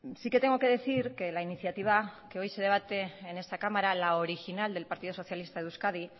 sí que tengo que decir que la iniciativa que hoy se debate en esta cámara la original del partido socialista de euskadi